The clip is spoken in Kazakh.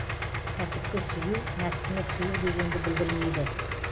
кәсіпті сүю нәпсіні тыю дегенді білдірмейді